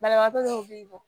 Banabagatɔ dɔw bɛ yen nɔ